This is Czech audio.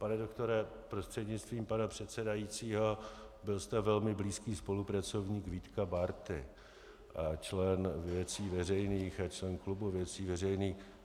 Pane doktore, prostřednictvím pana předsedajícího, byl jste velmi blízký spolupracovník Vítka Bárty a člen Věcí veřejných a člen klubu Věcí veřejných.